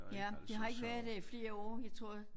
Ja det har ikke været der i flere år jeg tror